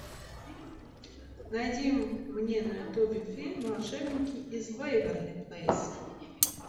найди мне на ютубе фильм волшебники из вэйверли плэйс